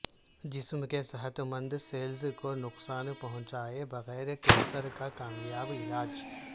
جسم کے صحت مند سیلز کو نقصان پہنچائے بغیر کینسر کا کامیاب علاج